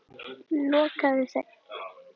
Lokaði þeim.